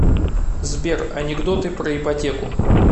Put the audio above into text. сбер анекдоты про ипотеку